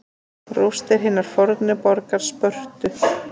Rústir hinnar fornu borgar Spörtu.